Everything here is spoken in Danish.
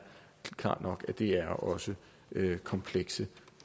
klart nok at det her også er komplekse